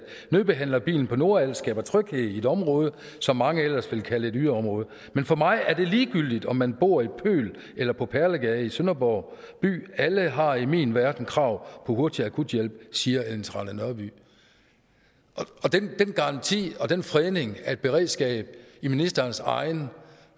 nødbehandlerbilen på nordals skaber tryghed i et område som mange ellers vil kalde et yderområde men for mig er det ligegyldigt om man bor i pøl eller på perlegade i sønderborg by alle har i min verden krav på hurtig akuthjælp siger ellen trane nørby den garanti og den fredning af et beredskab i ministerens egen